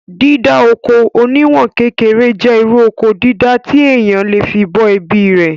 Dídá oko oníwọ̀n kékeré jẹ́ irú Oko dídá tí èèyàn le fí bọ́ ẹbí rè